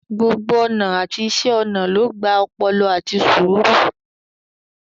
Gbogbo ọnà àti iṣẹ́ ọnà ló gba ọpọlọ àti sùúrù.